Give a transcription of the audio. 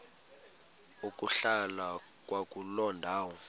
ukuhlala kwakuloo ndawo